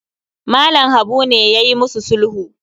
Mallam Habu ne yayi musu sulhu